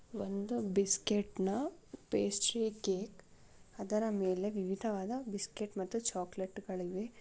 ಒಂದು ಬಿಸ್ಕೆಟ್ನ pastry cake ಅದರ ಮೇಲೆ ವಿವಿಧವಾದ ಬಿಸ್ಕೆಟ್ ಮತ್ತು ಚಾಕ್ಲೆಟ್ಗಳಿವೆ .